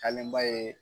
ba ye